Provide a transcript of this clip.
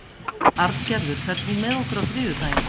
Arngerður, ferð þú með okkur á þriðjudaginn?